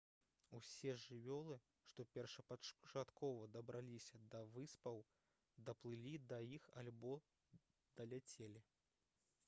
усе жывёлы што першапачаткова дабраліся да выспаў даплылі да іх альбо даляцелі